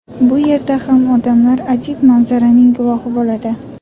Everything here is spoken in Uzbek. Bu yerda ham odamlar ajib manzaraning guvohi bo‘ladi.